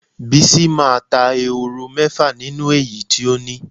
Bisi máa ta ehoro mé̩fà nínú èyí tí ó ní.